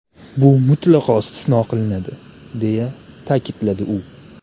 Bu mutlaqo istisno qilinadi”, deya ta’kidladi u.